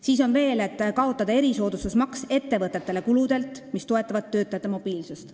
Siis on siin veel öeldud, et tuleks kaotada erisoodustusmaks ettevõtetele kuludelt, mis toetavad töötajate mobiilsust.